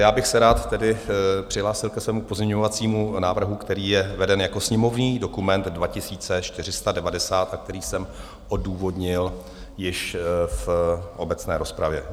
Já bych se rád tedy přihlásil ke svému pozměňovacímu návrhu, který je veden jako sněmovní dokument 2490 a který jsem odůvodnil již v obecné rozpravě.